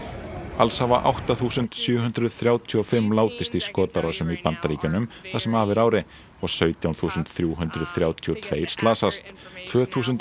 alls hafa átta þúsund sjö hundruð þrjátíu og fimm látist í skotárásum í Bandaríkjunum það sem af er ári og sautján þúsund þrjú hundruð þrjátíu og tveir slasast tvö þúsund